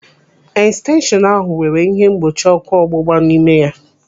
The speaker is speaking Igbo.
Estenshọnu ahụ nwere ihe mgbochi ọ́kụ́ ọgbụgba n'ime ya.